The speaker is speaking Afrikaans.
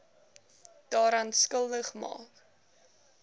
daaraan skuldig maak